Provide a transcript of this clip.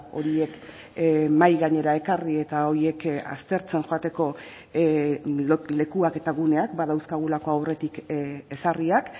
horiek mahai gainera ekarri eta horiek aztertzen joateko lekuak eta guneak badauzkagulako aurretik ezarriak